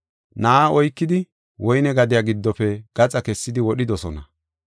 Na7a oykidi woyne gadiya giddofe gaxa kessidi wodhidosona.